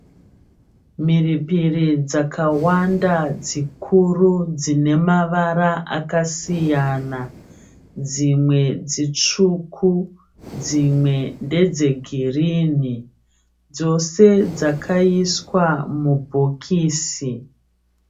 Mhiripiri dzakawanda dzikuru dzinemavara akasiyana, dzImwe dzitsvuku dzimwe ndedzegirinhi. Dzose dzakaiswa mubhokisi.